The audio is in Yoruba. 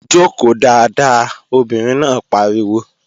Jòkó dáadáa! Obìnrin náà pariwo